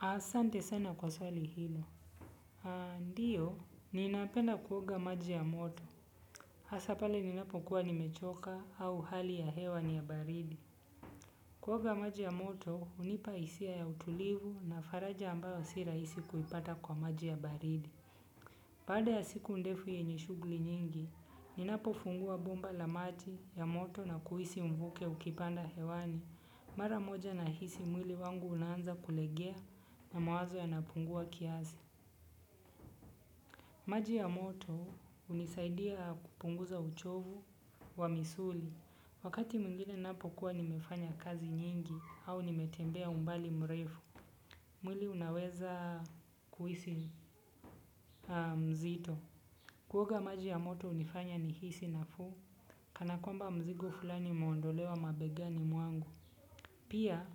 Asante sana kwa swali hilo. Ndiyo, ninapenda kuoga maji ya moto. Hasa pale ninapokuwa nimechoka au hali ya hewa ni ya baridi kuoga maji ya moto hunipa hisia ya utulivu na faraja ambayo si rahisi kuipata kwa maji ya baridi. Baada ya siku ndefu yenye shughuli nyingi, ninapofungua bomba la maji ya moto na kuhisi mvuke ukipanda hewani. Mara moja ninahisi mwili wangu unaanza kulegea na mawazo yanapungua kiasi. Maji ya moto hunisaidia kupunguza uchovu wa misuli wakati mwingine ninapo kuwa nimefanya kazi nyingi au nimetembea umbali mrefu. Mwili unaweza kuhisi mzito. Kuoga maji ya moto hunifanya nihisi nafuu kana kwamba mzigo fulani umeondolewa mabegani mwangu. Pia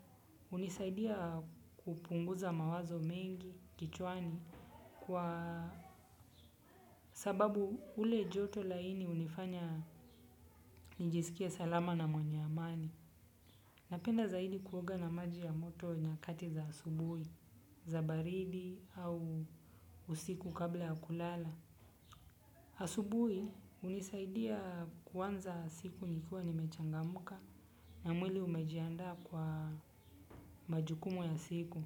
hunisaidia kupunguza mawazo mengi kichwani kwa sababu ule joto laini hunifanya nijisikie salama na mwenye amani. Napenda zaidi kuoga na maji ya moto nyakati za asubuhi, za baridi au usiku kabla ya kulala. Asubuhi hunisaidia kuanza siku nikiwa nimechangamka na mwili umejiandaa kwa majukumu ya siku.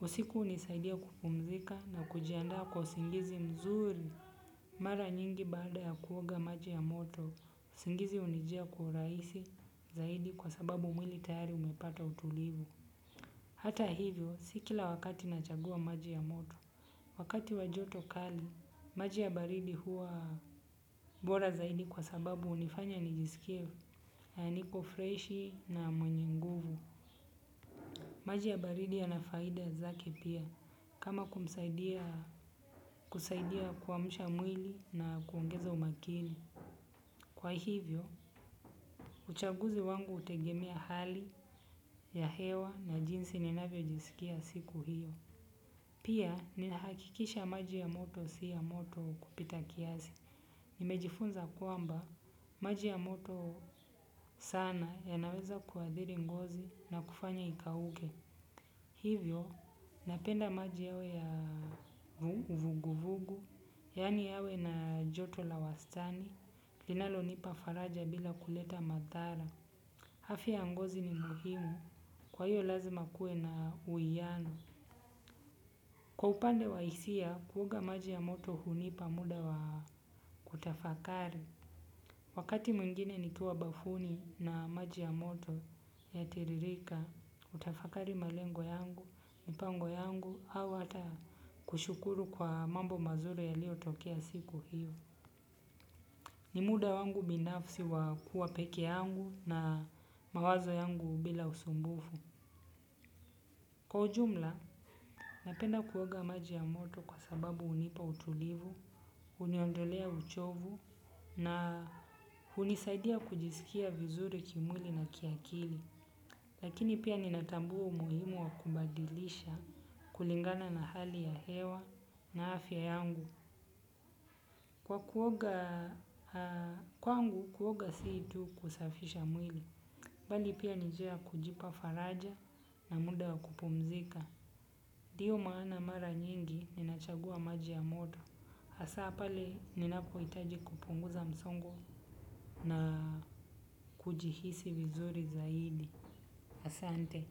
Usiku hunisaidia kupumzika na kujiandaa kwa usingizi mzuri mara nyingi baada ya kuoga maji ya moto usingizi hunijia kwa urahisi zaidi kwa sababu mwili tayari umepata utulivu hata hivyo si kila wakati nachagua maji ya moto wakati wa joto kali maji ya baridi huwa bora zaidi kwa sababu hunifanya nijisikie niko freshi na mwenye nguvu maji ya baridi yanafaida zake pia kama kusaidia kuamsha mwili na kuongeza umakini. Kwa hivyo, uchaguzi wangu hutegemea hali ya hewa na jinsi ninavyo jisikia siku hiyo. Pia, ninahakikisha maji ya moto si ya moto kupita kiasi. Nimejifunza kwamba, maji ya moto sana yanaweza kuathiri ngozi na kufanya ikauke. Hivyo, napenda maji yawe ya vuguvugu, yaani yawe na joto la wastani, linalo nipa faraja bila kuleta madhara. Afya ya ngozi ni muhimu, kwa hiyo lazima kuwe na uwiano. Kwa upande wa hisia, kuoga maji ya moto hunipa muda wa kutafakari. Wakati mwingine nikiwa bafuni na maji ya moto yanatiririka huwa ninatafakari malengo yangu mipango yangu au hata kushukuru kwa mambo mazuri yaliyo tokea siku hiyo. Ni muda wangu binafsi wa kuwa peke yangu na mawazo yangu bila usumbufu. Kwa ujumla, napenda kuoga maji ya moto kwa sababu hunipa utulivu, huniondolea uchovu na hunisaidia kujisikia vizuri kimwili na kiakili. Lakini pia ninatambua umuhimu wa kubadilisha kulingana na hali ya hewa na afya yangu. Kwa kuoga kwangu kuoga si tu kusafisha mwili. Bali pia ni njia ya kujipa faraja na muda wa kupumzika. Ndiyo maana mara nyingi ninachagua maji ya moto. Asa pale ninapo hitaji kupunguza msongo na kujihisi vizuri zaidi. Asante.